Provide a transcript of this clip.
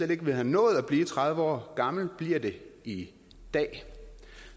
ville have nået at blive tredive år gamle bliver det i dag